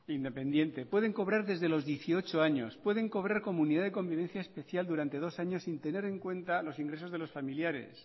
independiente pueden cobrar desde los dieciocho años pueden cobrar comunidad de convivencia especial durante dos años sin tener en cuenta los ingresos de los familiares